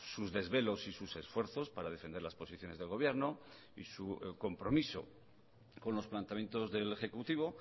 sus desvelos y sus esfuerzos para defender las posiciones del gobierno y su compromiso con los planteamientos del ejecutivo